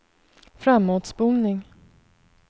framåtspolning